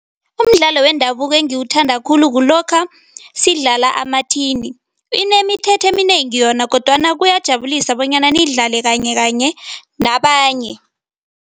Umdlalo wendabuko engiwuthanda khulu kulokha sidlala amathini. Inemithetho eminengi yona kodwana kuyajabulisa bonyana niyidlale kanyekanye nabanye.